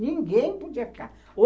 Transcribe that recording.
Ninguém podia ficar.